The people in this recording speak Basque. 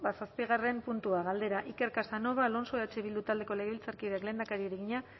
zazpigarren puntua galdera iker casanova alonso eh bildu taldeko legebiltzarkideak lehendakariari egina